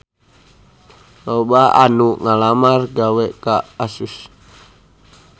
Loba anu ngalamar gawe ka Asus